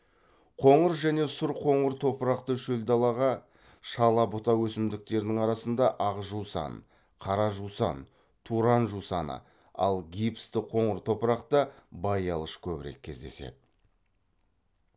қоңыр және сұр қоңыр топырақты шөл даладағы шала бұта өсімдіктердің арасында ақ жусан қара жусан туран жусаны ал гипсті қоңыр топырақта баялыш көбірек кездеседі